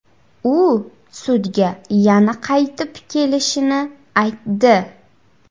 U sudga yana qaytib kelishini aytdi.